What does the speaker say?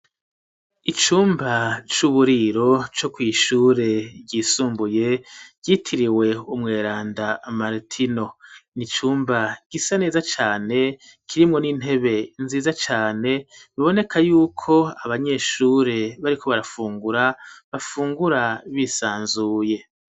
Icumba c'uburiro, co kw'ishure ryisumbuye, ryitiriwe umweranda martino; ni icumba gisa neza cane, kirimwo n'intebe nziza cane, biboneka yuko abanyeshure, bariko barafungura, bafungura bisanzuye.